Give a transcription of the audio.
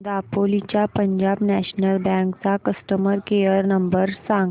दापोली च्या Punjab national bank चा customer care number सांग